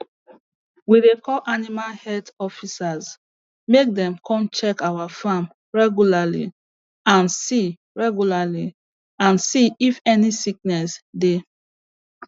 we dey call animal health officers make dem come check our farm regularly and see regularly and see if any sickness dey